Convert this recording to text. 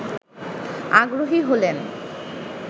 আগ্রহী হলেন